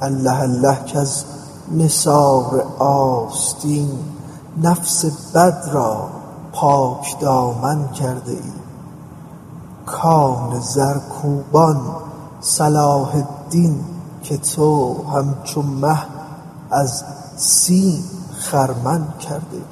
الله الله کز نثار آستین نفس بد را پاکدامن کرده ای کان زرکوبان صلاح الدین که تو همچو مه از سیم خرمن کرده ای